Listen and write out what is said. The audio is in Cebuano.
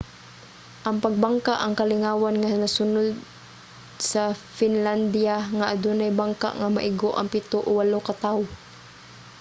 ang pagbangka ang kalingawan nga nasudnon sa finlandiya nga adunay bangka nga maigo ang pito o walo ka tao